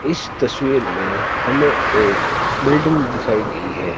इस तस्वीर में हमें एक बिल्डिंग दिखाई गई है।